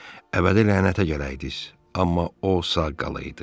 Əbədi lənətə gələydiz, amma o sağ qalaydı.